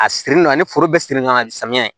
A siri la ni foro bɛɛ siri ka samiya